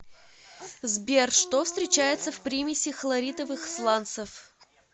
сбер что встречается в примеси хлоритовых сланцев